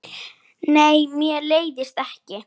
Nei, mér leiðist ekki.